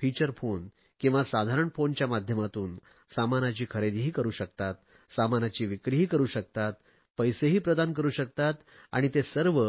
feature phone किंवा साधारण फोनच्या माध्यमातून सामानाची खरेदीही करु शकतात सामानाची विक्रीही करु शकतात पैसेही प्रदान करु शकतात आणि ते सर्व